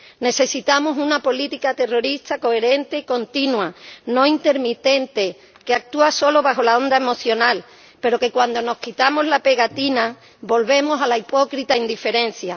Necesitamos una política terrorista coherente y continua, no intermitente, que actúa solo bajo la onda emocional, pero que cuando nos quitamos la pegatina volvemos a la hipócrita indiferencia.